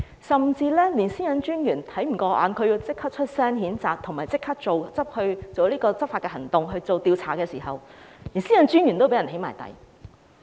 個人資料私隱專員也看不過眼，立即發聲譴責，並即時採取執法行動展開調查，結果連私隱專員也被"起底"。